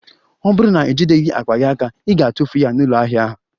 Ọ bụrụ na ijideghị akpa gị, ị ga-atụfu ya na ụlọ ahịa a